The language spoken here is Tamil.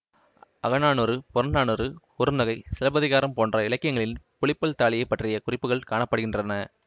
அகநானூறு புறநானூறு குறுந்தொகை சிலப்பதிகாரம் போன்ற இலக்கியங்களில் புலிப்பல் தாலியைப் பற்றிய குறிப்புக்கள் காண படுகின்றன